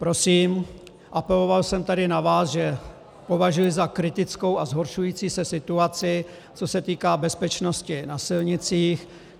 Prosím, apeloval jsem tady na vás, že považuji za kritickou a zhoršující se situaci, co se týká bezpečnosti na silnicích.